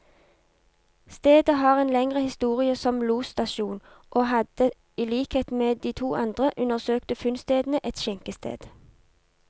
Stedet har en lengre historie som losstasjon, og hadde i likhet med de to andre undersøkte funnstedene, et skjenkested.